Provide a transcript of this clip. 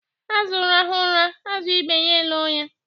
Azụ rahụ ụra, azụ ibe ya elo ya.